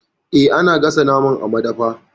Eh, ana gasa naman a madafi.